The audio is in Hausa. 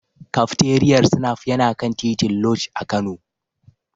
Kafteriyar Snaf yana kan titin Lodge a Kano.